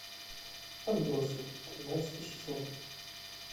отбросы тринадцатый сезон